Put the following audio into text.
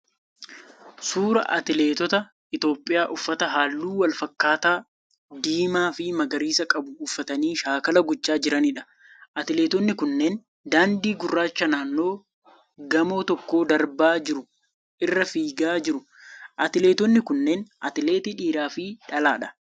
Suuraa atileeta Itiyoopiyaa uffata halluu wal fakkaataa, diimaa fi magariisa qabu uffatanii shaakala gochaa jiraniidha. Atileetonni kunneen daandii gurraacha naannoo gamoo tokkoo darbaa jiru irra fiigaa jiru. Atileetonni kunneen atileetii dhiiraa fi dhalaadha.